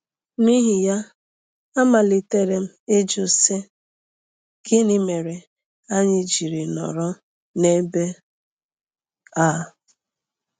N’ihi ya, amalitere m ịjụ, sị: ‘Gịnị mere anyị ji nọrọ n’ebe a?